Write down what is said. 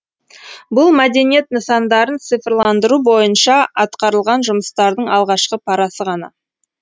бұл мәдениет нысандарын цифрландыру бойынша атқарылған жұмыстардың алғашқы парасы ғана